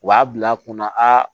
U b'a bila kunna aa